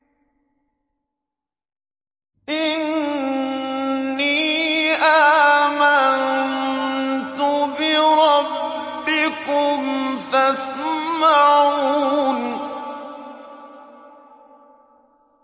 إِنِّي آمَنتُ بِرَبِّكُمْ فَاسْمَعُونِ